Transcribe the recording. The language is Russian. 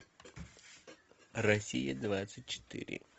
россия двадцать четыре